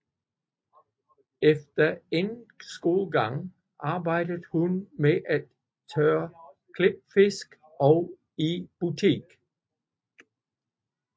Efter endt skolegang arbejdede hun med at tørre klipfisk og i butik